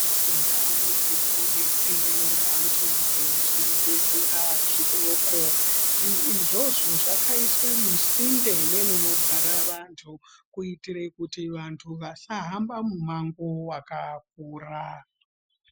Ndau dzinodetsere vantu nezvibhedhlera zvidoko zvinhu izvozvo zvakaiswe musinde nemunogara vantu kuitire kuti vantu vasahamba mumango wakakura.